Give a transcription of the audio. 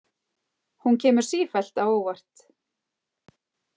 Hún kemur sífellt á óvart.